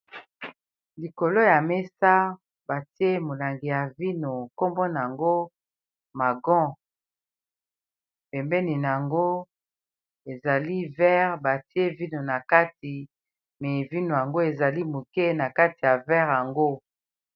Likolo ya mesa, batie molangi ya vino. Kombo na yango magon. Pembeni na yango, ezali vere batie vino na kati. Me vino yango, ezali moke na kati ya vere yango.